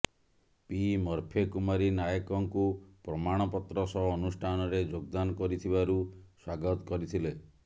P ମରଫେ କୁମାରୀ ନାୟକଙ୍କୁ ପ୍ରମାଣ ପତ୍ର ସହ ଅନୁଷ୍ଠାନରେ ଯୋଗଦାନ କରିଥିବାରୁ ସ୍ୱାଗତ କରିଥିଲେ